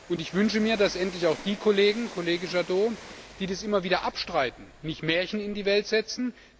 Und ich wünsche mir, dass endlich auch die Kollegen, Kollege Jadot, die dies immer wieder abstreiten, nicht Märchen in die Welt setzen.